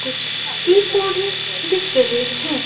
कुछ पौधे दिख रहे हैं।